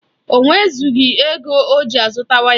O nwezụghi ego oji azụta waya